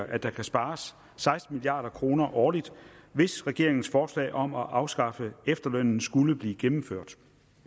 at der kan spares seksten milliard kroner årligt hvis regeringens forslag om at afskaffe efterlønnen skulle blive gennemført